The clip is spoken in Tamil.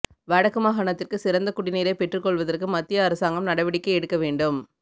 வடக்கு மாகாணத்திற்கு சிறந்த குடிநீரை பெற்றுக்கொள்வதற்கு மத்திய அரசாங்கம் நடவடிக்கை எடுக்க வேண்டும்